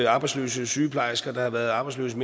arbejdsløse sygeplejersker der har været arbejdsløse